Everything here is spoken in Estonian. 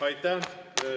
Aitäh!